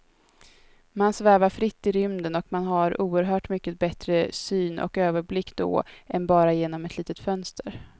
Man svävar fritt i rymden och man har oerhört mycket bättre syn och överblick då än bara genom ett litet fönster.